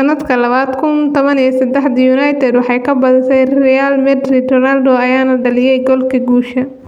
Sanadka labada kun taban iyo sedaxdii, United waxaa ka badisay Real Madrid, Ronaldo ayaana dhaliyay goolkii guusha.